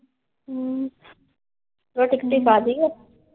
ਅਮ ਰੋਟੀ .